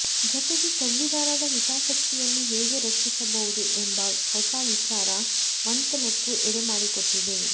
ಜತೆಗೆ ಸಂವಿಧಾನದ ಹಿತಾಸಕ್ತಿಯನ್ನು ಹೇಗೆ ರಕ್ಷಿಸಬಹುದು ಎಂಬ ಹೊಸ ವಿಚಾರ ಮಂಥನಕ್ಕೂ ಎಡೆ ಮಾಡಿಕೊಟ್ಟಿದೆ